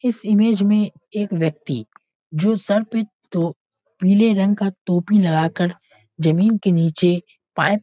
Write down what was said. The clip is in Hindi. इस इमेज में एक व्यक्ति जो सर पे तो पीले रंग का टोपी लगा कर जमीन के नीचे पाइप --